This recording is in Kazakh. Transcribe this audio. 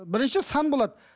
бірінші сан болады